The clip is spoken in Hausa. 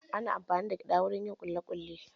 Ana amfani da gyada wajen yin kuli kuli.